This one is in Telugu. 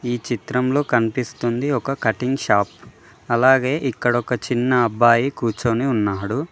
ఈ చిత్రంలో కనిపిస్తుంది ఒక కటింగ్ షాప్ అలాగే ఇక్కడ ఒక చిన్న అబ్బాయి కూర్చొని ఉన్నాడు.